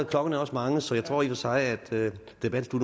klokken er også mange så jeg tror i og for sig at debatten